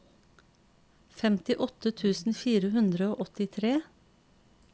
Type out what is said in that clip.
femtiåtte tusen fire hundre og åttitre